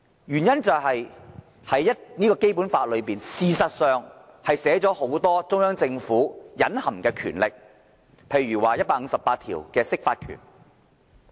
原因是《基本法》確實書寫了很多中央政府的隱含權力，例如第一百五十八條所訂的釋法權。